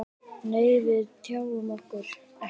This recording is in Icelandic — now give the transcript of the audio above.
Nei, við tjáum okkur ekkert.